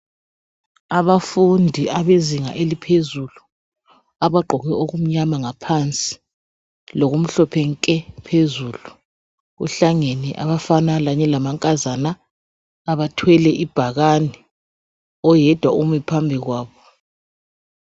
Abafundi abezinga eliphezulu abagqoke okumnyama ngaphansi lokumhlophe nke phezulu, kuhlangene abafana kanye lamankazana abathwele ibhakane. Oyedwa umi phambi kwabo.